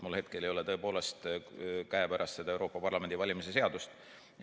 Mul hetkel ei ole tõepoolest käepärast seda Euroopa Parlamendi valimise seadust.